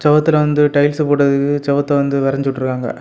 ஒருத்தர் வந்து டைல்ஸ் போட்டுவத்தக்கு செவுத்த வந்து வரைஞ்சு வுட்டுருக்குராங்க.